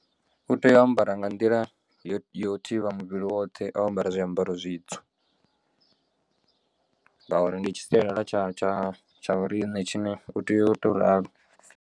U tea u ambara nga nḓila yo yo thivha muvhili woṱhe o ambara zwiambaro zwitswu ngauri ndi tshi sialala tsha tsha tsha vhoriṋe tshine u tea u to ralo.